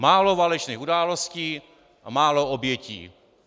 Málo válečných událostí a málo obětí.